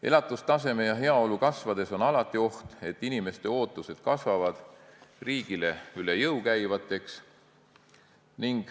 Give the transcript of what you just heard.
Elatustaseme ja heaolu kasvades on alati oht, et inimeste ootused kasvavad riigile üle jõu käivaks.